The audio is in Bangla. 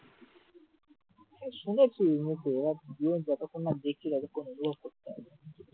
শুনেছি মুখে, এবার গিয়ে যতক্ষণ না দেখি ততক্ষণ অনুভব করতে পারব না